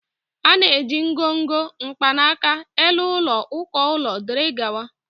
A na-eji ngọngọ, mkpanaka, elu ụlọ, uko ụlọ, wdg.